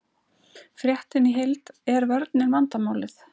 Fréttin í heild: Er vörnin vandamálið?